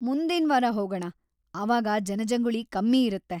ಮುಂದಿನ್ವಾರ ಹೋಗಣ, ಆವಾಗ ಜನಜಂಗುಳಿ ಕಮ್ಮಿ ಇರತ್ತೆ.